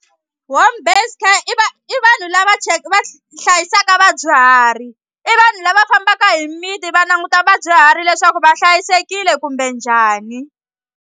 Home based care i i vanhu lava va hlayisaka vadyuhari i vanhu lava fambaka hi mimiti va languta vadyuhari leswaku va hlayisekile kumbe njhani.